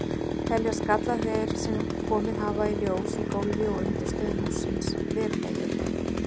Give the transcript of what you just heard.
Teljast gallar þeir, sem komið hafa í ljós í gólfi og undirstöðum hússins, verulegir?